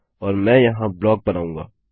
और मैं यहाँ ब्लॉक बनाऊँगा